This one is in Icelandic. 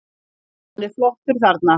Hann er flottur þarna.